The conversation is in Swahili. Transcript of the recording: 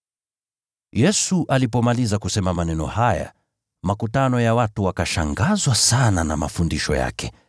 Yesu alipomaliza kusema maneno haya, makutano ya watu wakashangazwa sana na mafundisho yake,